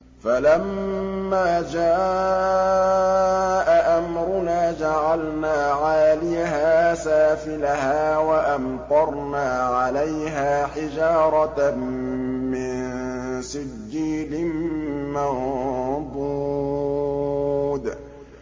فَلَمَّا جَاءَ أَمْرُنَا جَعَلْنَا عَالِيَهَا سَافِلَهَا وَأَمْطَرْنَا عَلَيْهَا حِجَارَةً مِّن سِجِّيلٍ مَّنضُودٍ